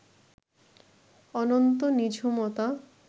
অনন্ত নিঝুমতা